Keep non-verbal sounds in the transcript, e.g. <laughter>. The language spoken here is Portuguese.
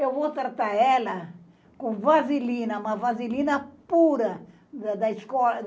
Eu vou tratar ela com vaselina, uma vaselina pura, da <unintelligible>